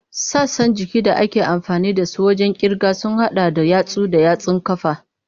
Sassan jikin da ake amfani da su wajen kirga sun hada da yatsu da yatsun ƙafa.